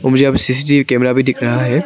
मुझे यहाँ CCTV camera भी दिख रहा है।